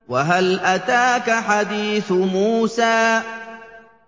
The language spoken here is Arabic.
وَهَلْ أَتَاكَ حَدِيثُ مُوسَىٰ